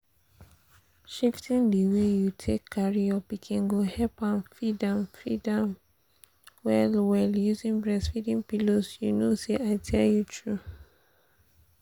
shifting the way you take carry your pikin go help am feed am feed well well using breastfeeding pillows you know say i tell you true